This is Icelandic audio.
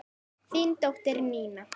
Þín dóttir, Nína.